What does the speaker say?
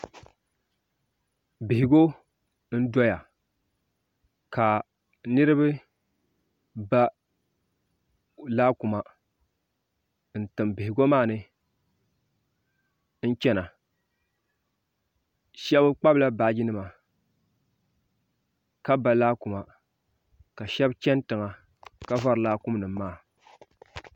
Bihigu n-doya ka niriba ba laakuma n-tim bihigu maa ni n-chana shɛba kpabila baajinima ka ba laakuma ka shɛba chani tiŋa ka vari laakum nima maa